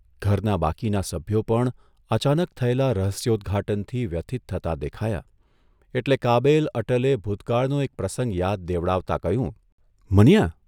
ઘરનાં બાકીનાં સભ્યો પણ અચાનક થયેલા રહસ્યોદ્ઘાટનથી વ્યથીત થતાં દેખાયાં એટલે કાબેલ અટલે ભૂતકાળનો એક પ્રસંગ યાદ દેવડાવતા કહ્યું, ' મનીયા!